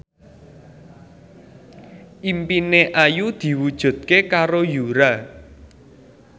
impine Ayu diwujudke karo Yura